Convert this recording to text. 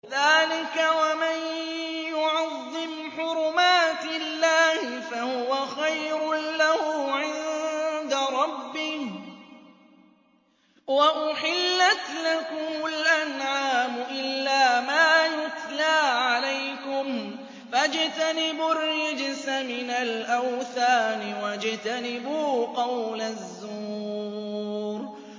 ذَٰلِكَ وَمَن يُعَظِّمْ حُرُمَاتِ اللَّهِ فَهُوَ خَيْرٌ لَّهُ عِندَ رَبِّهِ ۗ وَأُحِلَّتْ لَكُمُ الْأَنْعَامُ إِلَّا مَا يُتْلَىٰ عَلَيْكُمْ ۖ فَاجْتَنِبُوا الرِّجْسَ مِنَ الْأَوْثَانِ وَاجْتَنِبُوا قَوْلَ الزُّورِ